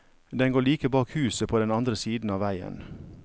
Den går like bak huset på den andre siden av veien.